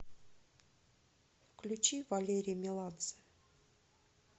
включи валерий меладзе